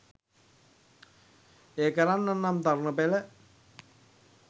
එය කරන්නට නම් තරුණ පෙළ